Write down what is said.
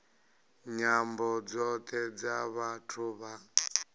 nyambo dzothe dza vhathu vha